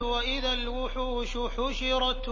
وَإِذَا الْوُحُوشُ حُشِرَتْ